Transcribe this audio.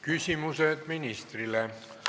Küsimused ministrile.